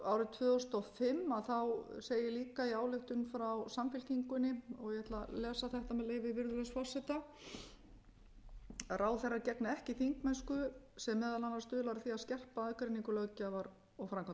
árið tvö þúsund og fimm segir líka í ályktun frá samfylkingunni og ég ætla að lesa þetta með leyfi virðulegs forseta ráðherra gegni ekki þingmennsku sem meðal annars stuðlar að því að skekkja aðgreiningu löggjafarvalds og framkvæmdarvald það er alveg ljóst að